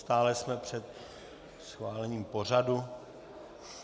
Stále jsme před schválením pořadu.